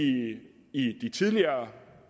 i de tidligere